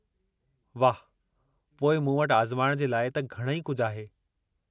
वाह, पोइ मूं वटि आज़माइणु जे लाइ त घणई कुझु आहे।